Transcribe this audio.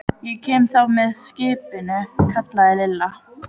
Ég kem þá með skipinu, kallaði Lilla.